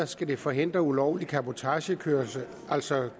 skal forhindre ulovlig cabotagekørsel altså